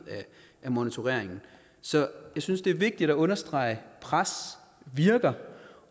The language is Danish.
af monitorering så jeg synes det er vigtigt at understrege at pres virker